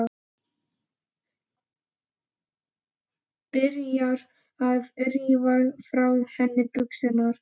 Byrjar að rífa frá henni buxurnar.